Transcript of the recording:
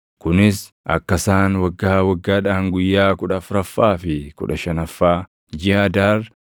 kunis akka isaan waggaa waggaadhaan guyyaa kudha afuraffaa fi kudha shanaffaa jiʼa Adaar